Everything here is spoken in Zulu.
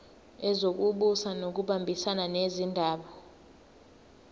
wezokubusa ngokubambisana nezindaba